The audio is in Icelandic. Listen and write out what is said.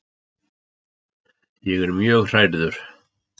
Ég er mjög hrærður.